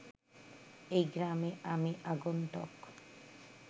এ গ্রামে আমি আগন্তুক